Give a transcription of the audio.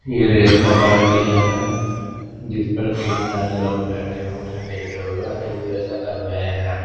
ये रेत का बड़ा टीला है जिस पर तीन चार लोग बैठे हुए हैं लेटे हुए हैं जैसा कर रहे हैं।